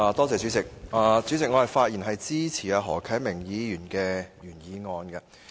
主席，我發言支持何啟明議員的原議案。